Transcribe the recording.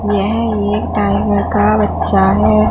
यह एक टाइगर का बच्चा हैं।